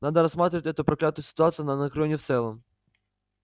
надо рассматривать эту проклятую ситуацию на анакреоне в целом